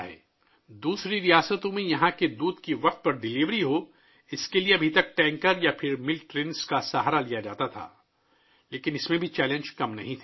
یہاں سے دیگر ریاستوں میں دودھ کی بروقت ترسیل کے لیے اب تک ٹینکروں یا دودھ والی ٹرینوں کا سہارا لیا جاتا تھا لیکن اس میں بھی کم چیلنجز نہیں تھے